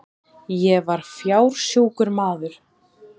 Ég var fársjúkur maður.